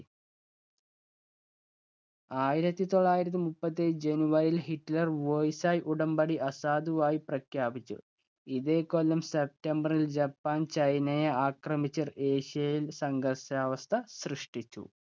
ആയിരത്തി തൊള്ളായിരത്തി മുപ്പത്തിയേഴ് july യിൽ ഹിറ്റ്ലർ versai ഉടമ്പടി അസാധുവായി പ്രഖ്യാപിച്ചു. ഇതേ കൊല്ലം september ല്‍ ജപ്പാൻ ചൈനയെ ആക്രമിച്ച് ഏഷ്യയില്‍ സംഘർഷാവസ്ഥ സൃഷ്ടിച്ചു.